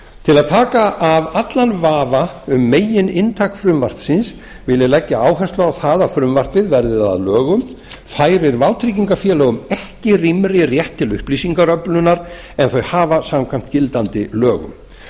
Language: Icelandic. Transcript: til að taka af allan vafa um megininntak frumvarpsins vil ég leggja áherslu á það að frumvarpið verða það að lögum færir vátryggingarfélögum ekki rýmri rétt til upplýsingaöflunar en þau hafa samkvæmt gildandi lögum